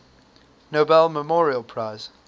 nobel memorial prize